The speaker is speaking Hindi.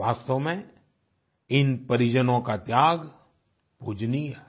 वास्तव में इन परिजनों का त्याग पूजनीय है